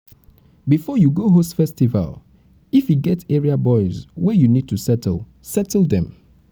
before you go host festival if e get area boys wey you need to settle settle them